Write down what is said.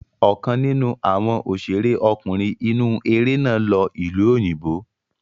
Ọ̀kan nínú àwọn òṣèré ọkùnrin inú eré náà lọ ìlú òyìnbó.